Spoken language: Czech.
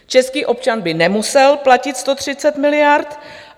Český občan by nemusel platit 130 miliard.